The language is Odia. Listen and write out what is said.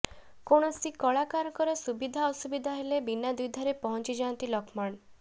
କୌଣସି କଳାକାରଙ୍କର ସୁବିଧା ଅସୁବିଧା ହେଲେ ବିନା ଦ୍ୱିଧାରେ ପହଂଚିଯାଆନ୍ତି ଲକ୍ଷ୍ମଣ